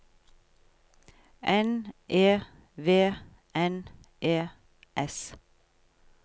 N E V N E S